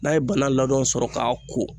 N'a ye bana ladon sɔrɔ k'a ko.